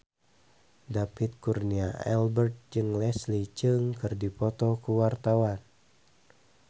David Kurnia Albert jeung Leslie Cheung keur dipoto ku wartawan